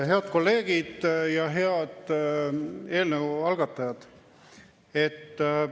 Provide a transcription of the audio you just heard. Head kolleegid ja head eelnõu algatajad!